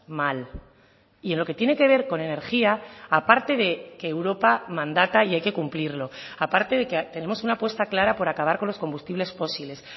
mal y en lo que tiene que ver con energía aparte de que europa mandata y hay que cumplirlo aparte de que tenemos una apuesta clara por acabar con los combustibles fósiles